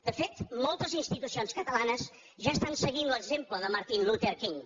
de fet moltes institucions catalanes ja estan seguint l’exemple de martin luther king